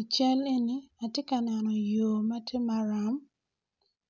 I cal eni atye kaneno yor matye maram